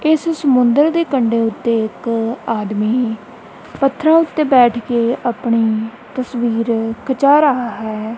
ਇਸ ਸਮੁੰਦਰ ਦੇ ਕੰਡੇ ਉੱਤੇ ਇੱਕ ਆਦਮੀ ਪੱਥਰਾਂ ਉੱਤੇ ਬੈਠ ਕੇ ਆਪਣੀ ਤਸਵੀਰ ਖਿਚਾ ਰਹਾ ਹੈ।